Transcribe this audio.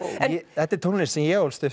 þetta er tónlist sem ég ólst upp